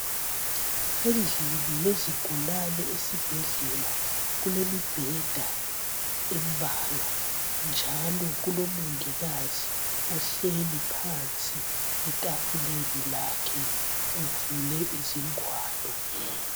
Endlini yizigulane esibhedlela kulemibheda embalwa. Njalo kulomongikazi ohleli phansi etafuleni lakhe uvule izingwalo.